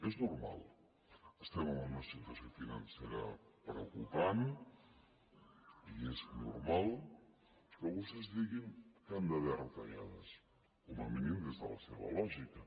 és normal estem en una situació financera preocupant i és normal que vostès diguin que hi han d’haver retallades com a mínim des de la seva lògica